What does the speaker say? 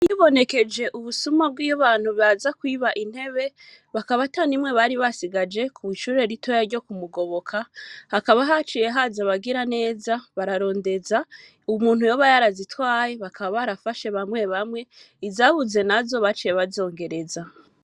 Hibonekeje ubusuma bwabantu baza kwiba intebe bakaba atanimwe bari basigaye kw'ishure ritoya ryo kumugoboka hakaba haciye haza abagiraneza bararindeza umuntu yoba yarazitwaye bakaba barafata Bamwe bamwe izabuze nazo bakaba baraje kuzongereza.